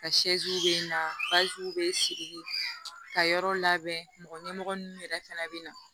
Ka bɛ na bɛ siri ka yɔrɔ labɛn mɔgɔ ɲɛmɔgɔ ninnu yɛrɛ fɛnɛ bɛ na